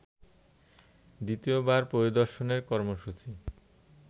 দ্বিতীয়বার পরিদর্শনের কর্মসূচি